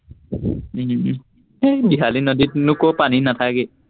উম সেই বিহালী নদীত নো কত পানী নাথাকেই